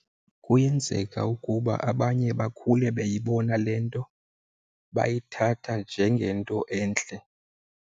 Kuyenzeka ukuba abanye bakhule beyibona le nto bayithatha njengento entle.